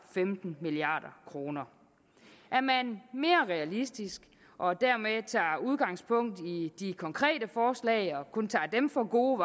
femten milliard kroner er man mere realistisk og dermed tager udgangspunkt i de konkrete forslag og kun tager dem for gode